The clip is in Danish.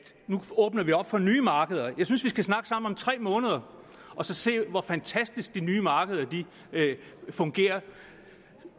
nu åbner vi op for nye markeder jeg synes vi skal snakke sammen om tre måneder og så se hvor fantastisk de nye markeder fungerer